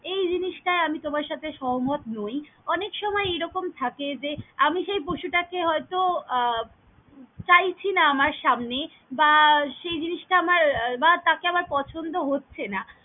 এই জিনিসটাই আমি তোমার সাথে সহমত নই। অনেক সময় এইরকম থাকে যে আমি সেই পশুটাকে হয়ত আহ চাইছি না আমার সামনে বা সেই জিনিসটা আমার বা তাকে আমার পছন্দ হচ্ছে না।